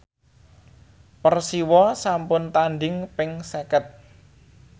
Persiwa sampun tandhing ping seket